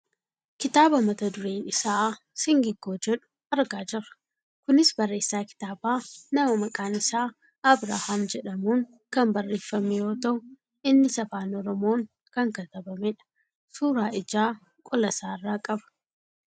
kitaaba mata dureen isaa "singiggoo" jedhu argaa jirra. kunis barreessaa kitaabaa nama maqaan isaa Abrahaam jedhamuun kan barreeffame yoo ta'u , innis afaan oromoon kan katabamedha. suuraa ijaa qolasaarraa qaba.